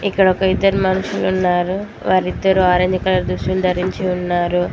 ఇక్కడ ఒక ఇద్దరు మనుషులు ఉన్నారు వారిద్దరు ఆరెంజ్ కలర్ దుస్తులు ధరించి ఉన్నారు.